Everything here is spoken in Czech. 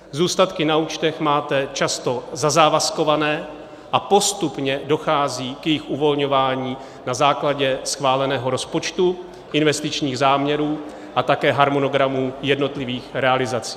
Zůstatky na účtech máte často zazávazkované a postupně dochází k jejich uvolňování na základě schváleného rozpočtu, investičních záměrů a také harmonogramu jednotlivých realizací.